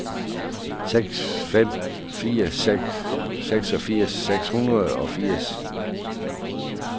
seks fem fire seks seksogfirs seks hundrede og firs